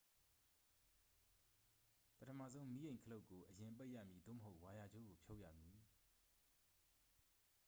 ပထမဆုံး မီးအိမ် ခလုတ်ကို အရင်ပိတ်ရမည် သို့မဟုတ် ဝါယာကြိုးကို ဖြုတ်ရမည်